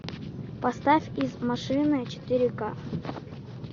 поставь из машины четыре ка